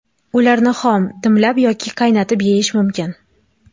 Ularni xom, dimlab yoki qaynatib yeyish mumkin.